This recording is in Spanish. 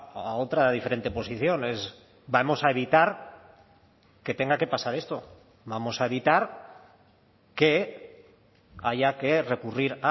a otra diferente posición es vamos a evitar que tenga que pasar esto vamos a evitar que haya que recurrir